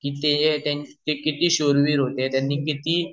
कि ते कीती शूर वीर होते त्यांनी किती